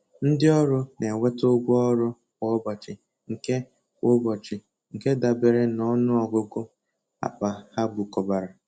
Ndị ọrụ na-enweta ụgwọ ọrụ kwa ụbọchị nke kwa ụbọchị nke dabere na ọnụ ọgụgụ akpa ha bukọbara.